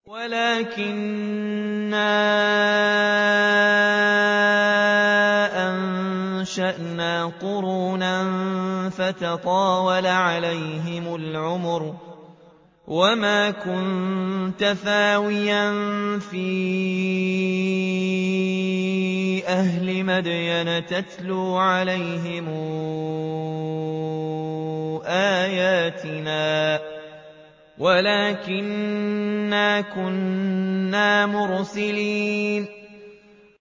وَلَٰكِنَّا أَنشَأْنَا قُرُونًا فَتَطَاوَلَ عَلَيْهِمُ الْعُمُرُ ۚ وَمَا كُنتَ ثَاوِيًا فِي أَهْلِ مَدْيَنَ تَتْلُو عَلَيْهِمْ آيَاتِنَا وَلَٰكِنَّا كُنَّا مُرْسِلِينَ